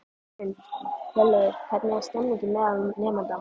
Hrund: Hjörleifur, hvernig er stemningin meðal nemenda?